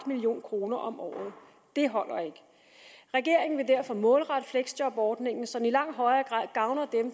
million kroner om året det holder ikke regeringen vil derfor målrette fleksjobordningen så den i langt højere grad gavner